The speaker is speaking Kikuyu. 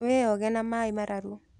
Wĩoge na maĩmararu.